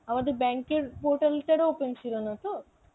আমাদের bank এর portal টারও open ছিল না তো?